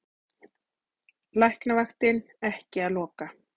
Læknavaktin ekki að loka